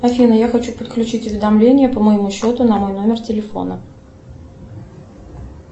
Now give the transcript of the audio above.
афина я хочу подключить уведомления по моему счету на мой номер телефона